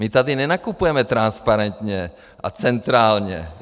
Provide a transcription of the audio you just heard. My tady nenakupujeme transparentně a centrálně.